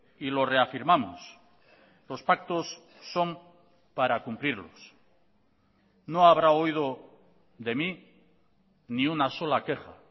y lo reafirmamos los pactos son para cumplirlos no habrá oído de mí ni una sola queja